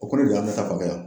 O kolo de y'an bɛɛ ta fanfɛ yan